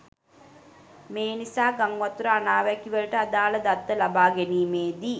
මේනිසා ගංවතුර අනාවැකිවලට අදාළ දත්ත ලබා ගැනීමේදී